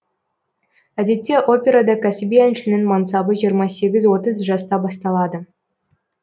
әдетте операда кәсіби әншінің мансабы жиырма сегіз отыз жаста басталады